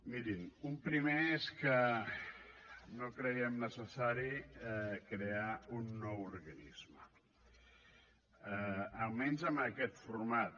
mirin un primer és que no creiem necessari crear un nou organisme almenys amb aquest format